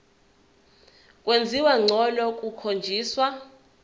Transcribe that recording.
kwenziwa ngcono kukhonjiswa